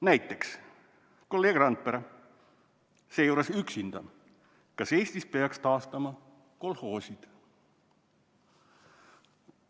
Näiteks, kolleeg Randpere, seejuures üksinda, eistab küsimuse "Kas Eestis peaks taastama kolhoosid?".